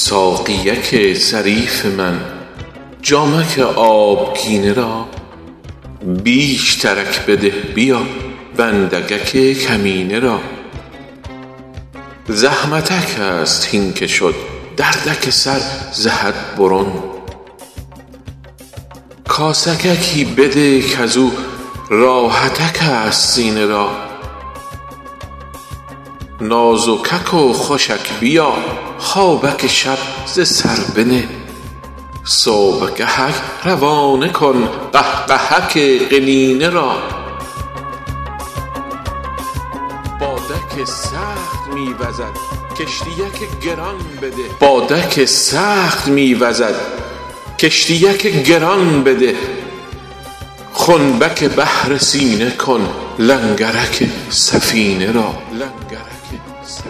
ساقیک ظریف من جامک آبگینه را بیش ترک بده بیا بندگک کمینه را زحمتک است هین که شد دردک سر ز حد برون کاسگکی بده کزو راحتک است سینه را نازکک و خوشک بیا خوابک شب ز سر بنه صبح گهک روانه کن قهقهک قنینه را بادک سخت می وزد کشتیک گران بده خنبک بحر سینه کن لنگرک سفینه را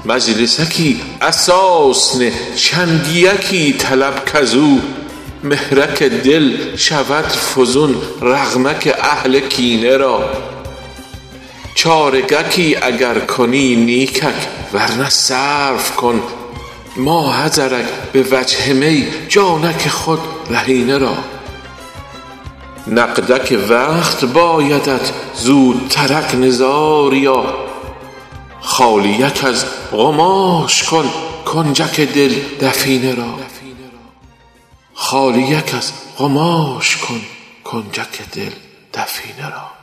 مجلسکی اساس نه چنگیکی طلب کزو مهرک دل شود فزون رغمک اهل کینه را چارگکی اگر کنی نیکک ورنه صرف کن ماحضرک به وجه می جانک خود رهینه را نقدک وقت بایدت زودترک نزاریا خالیک از قماش کن کنجک دل دفینه را